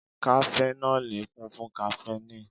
Kafẹnọli kún fún kaféìnì